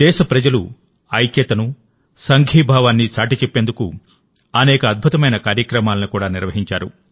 దేశ ప్రజలు ఐక్యతను సంఘీభావాన్ని చాటిచెప్పేందుకుఅనేక అద్భుతమైన కార్యక్రమాలను కూడా నిర్వహించారు